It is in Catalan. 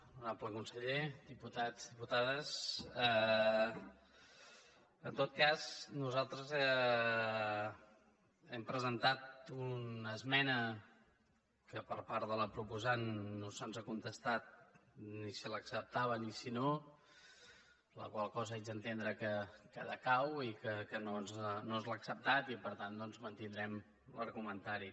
honorable conseller diputats diputades en tot cas nosaltres hem presentat una esmena que per part de la proposant no se’ns ha contestat ni si l’acceptava ni si no per la qual cosa haig d’entendre que decau i que no ens l’ha acceptat i per tant doncs mantindrem l’argumentari